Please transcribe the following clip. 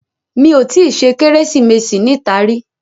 Mi ò tí ì ṣe Kérésìmesì níta rí